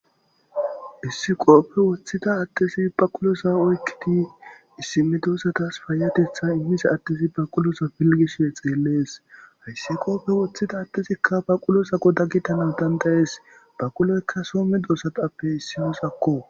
Issi qooppe woththida addesi baqulosa oykkidi issime doossatas paayatetha immise addesi baqulosa pilgisoe xeellees hayssiqooppe woththida addesikka baqulosako dagitana dandayes baquloykka soome doosatappe issiyosakko